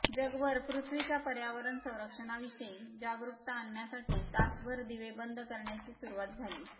जगभर पृथ्वीच्या पर्यावरण रक्षणाविषयी जागरुकता आणण्यासाठी तासभर दिवे बंद करण्याची सुरुवात झाली